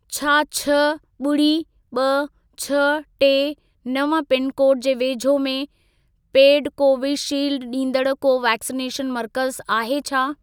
छा छह, ॿुड़ी, ॿ, छह, टे, नव पिनकोड जे वेझो में पेड कोवीशील्ड ॾींदड़ को वैक्सिनेशन मर्कज़ आहे छा?